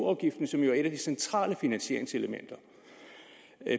afgiften som jo er et af de centrale finansieringselementer